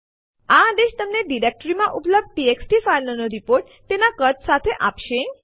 આ આદેશ તમને ડિરેક્ટરીમાં ઉપલબ્ધ ટીએક્સટી ફાઈલો નો રીપોર્ટ તેના કદ સાથે આપશે